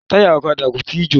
Táyà ọ̀kadà kò tíì jò.